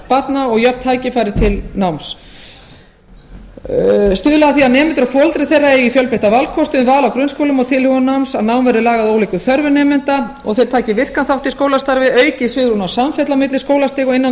grunnskólabarna og jöfn tækifæri til náms stuðla að því að nemendur og foreldrar þeirra eigi fjölbreytta valkosti um val á grunnskóla og tilhögun náms að nám verði lagað að ólíkum þörfum nemenda og þeir taki virkan þátt í skólastarfi aukið svigrúm og samfella á milli skólastiga og innan